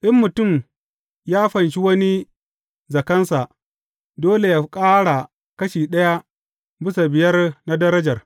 In mutum ya fanshi wani zakansa, dole yă ƙara kashi ɗaya bisa biyar na darajar.